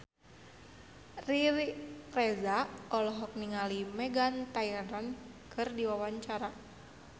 Riri Reza olohok ningali Meghan Trainor keur diwawancara